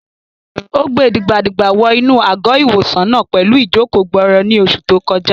Ó gbe dìgbà-dìgbà wọ inú àgọ́-ìwòsàn náà pẹ̀lú ìjòkó-gbọọrọ ní oṣù tó kọjá